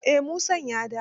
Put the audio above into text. Eh Musan ya dawo.